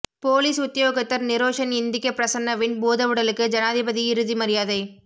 police உத்தியோகத்தர் நிரோஷன் இந்திக்க பிரசன்னவின் பூதவுடலுக்கு ஜனாதிபதி இறுதி மரியாதை